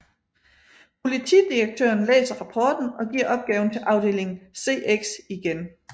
Politidirektøren læser rapporten og giver opgaven til afdeling CX igen